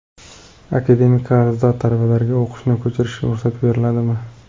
Akademik qarzdor talabalarga o‘qishni ko‘chirishga ruxsat beriladimi?